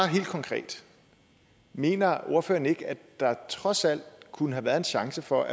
helt konkret mener ordføreren ikke at der trods alt kunne have været en chance for